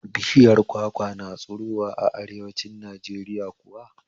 Bishiyar kwakwa na tsirowa a arewanci Najeriya kuwa?